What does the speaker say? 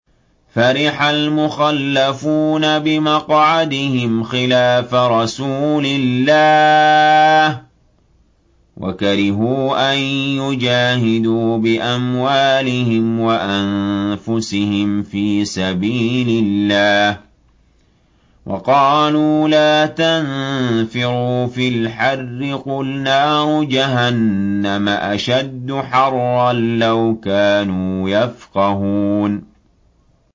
فَرِحَ الْمُخَلَّفُونَ بِمَقْعَدِهِمْ خِلَافَ رَسُولِ اللَّهِ وَكَرِهُوا أَن يُجَاهِدُوا بِأَمْوَالِهِمْ وَأَنفُسِهِمْ فِي سَبِيلِ اللَّهِ وَقَالُوا لَا تَنفِرُوا فِي الْحَرِّ ۗ قُلْ نَارُ جَهَنَّمَ أَشَدُّ حَرًّا ۚ لَّوْ كَانُوا يَفْقَهُونَ